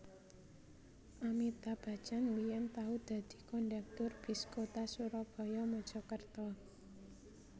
Amitabh Bachchan biyen tau dadi kondektur bis kota Surabaya Mojokerto